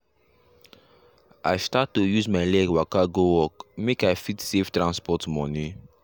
i start to use my leg waka go work make i fit save transport money